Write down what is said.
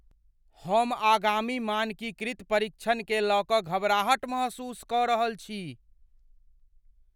हम आगामी मानकीकृत परीक्षणकेँ लय कऽ घबराहट महसूस कऽ रहल छी।